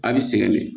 A' bi sɛgɛn de